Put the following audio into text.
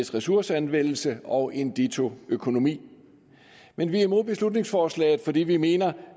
ressourceanvendelse og en ditto økonomi men vi er imod beslutningsforslaget fordi vi mener